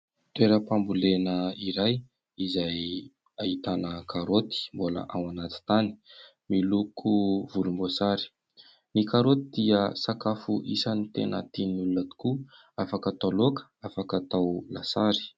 Toeram-pambolena iray izay ahitana karôty mbola ao anaty tany miloko volomboasary. Ny karôty dia sakafo isan'ny tena tian'ny olona tokoa, afaka atao laoka, afaka atao lasary.